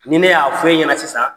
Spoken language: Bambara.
Ni ne y'a fɔ e ɲɛna sisan